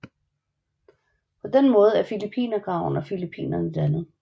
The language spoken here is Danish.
På den måde er Filippinergraven og Filippinerne dannet